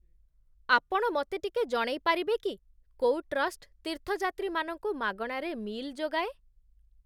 ଆପଣ ମତେ ଟିକେ ଜଣେଇପାରିବେ କି କୋଉ ଟ୍ରଷ୍ଟ ତୀର୍ଥଯାତ୍ରୀମାନଙ୍କୁ ମାଗଣାରେ ମି'ଲ୍ ଯୋଗାଏ?